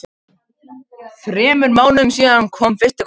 Þremur mánuðum síðar kom fyrsti kossinn.